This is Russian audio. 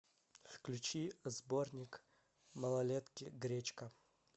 включи сборник малолетки гречка